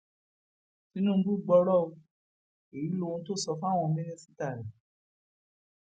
tinúbú gbọrọ o èyí lohun tó sọ fáwọn mínísítà rẹ